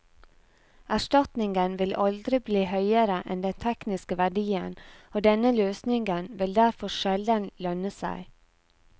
Erstatningen vil aldri bli høyere enn den tekniske verdien, og denne løsningen vil derfor sjelden lønne seg.